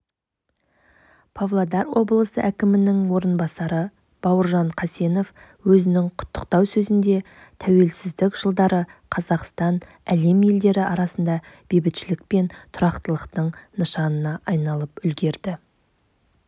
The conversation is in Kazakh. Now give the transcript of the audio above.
павлодар облысы әкімінің орынбасары бауыржан қасенов өзінің құттықтау сөзінде тәуелсіздік жылдары қазақстан әлем елдері арасында бейбітшілік пен тұрақтылықтың нышанына айналып үлгерді